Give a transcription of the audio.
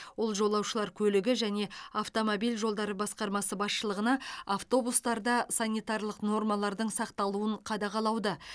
ол жолаушылар көлігі және автомобиль жолдары басқармасы басшылығына автобустарда санитарлық нормалардың сақталуын қадағалауды